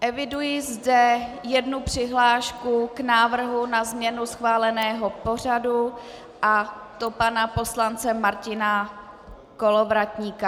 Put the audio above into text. Eviduji zde jednu přihlášku k návrhu na změnu schváleného pořadu, a to pana poslance Martina Kolovratníka.